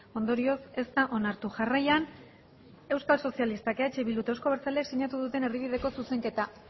ondorioz ez da onartu jarraian euskal sozialistak eh bilduk eta euzko abertzaleak sinatu duten erdibideko zuzenketa